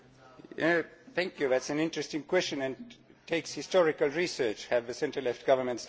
That is an interesting question. It takes historical research have the centre left governments done anything about it?